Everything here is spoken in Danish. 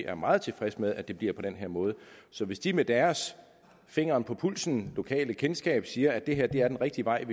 er meget tilfredse med at det bliver på den her måde så hvis de med deres finger på pulsen lokalkendskab siger at det her er den rigtige vej